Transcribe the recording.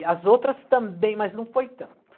E as outras também, mas não foi tanto.